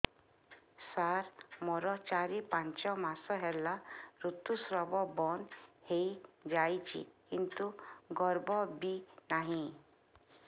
ସାର ମୋର ଚାରି ପାଞ୍ଚ ମାସ ହେଲା ଋତୁସ୍ରାବ ବନ୍ଦ ହେଇଯାଇଛି କିନ୍ତୁ ଗର୍ଭ ବି ନାହିଁ